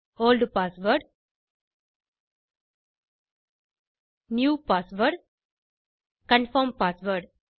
old password new password confirm password